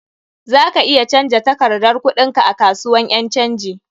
Za ka iya canja takardar kuɗin ka a kasuwan ƴan canji.